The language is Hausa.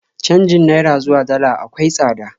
Canjin Naira zuwa Dala akwai tsada